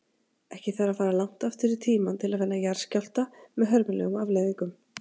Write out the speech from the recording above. Ekki þarf að fara langt aftur í tímann til að finna jarðskjálfta með hörmulegum afleiðingum.